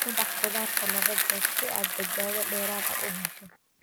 Ku dhaq khudaarta laba jeer si aad badbaado dheeraad ah u hesho.